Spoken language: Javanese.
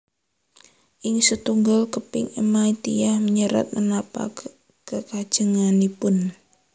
Ing setunggal keping ema tiyang nyerat menapa kekajenganipun